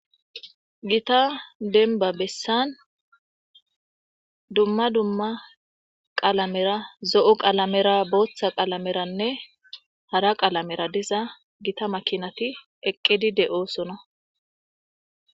Gita denba bessan dumma dumma qalamera zo'o qalamera booththa qalameranne hara qalamera diza gita makinati eqqedi de oosona